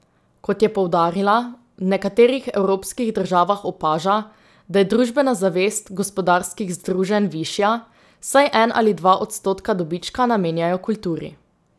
Kot je poudarila, v nekaterih evropskih državah opaža, da je družbena zavest gospodarskih združenj višja, saj en ali dva odstotka dobička namenjajo kulturi.